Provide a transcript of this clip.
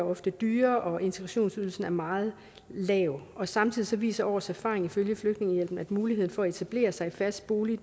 ofte dyre og integrationsydelsen er meget lav samtidig viser års erfaring ifølge dansk flygtningehjælp at muligheden for at etablere sig i fast bolig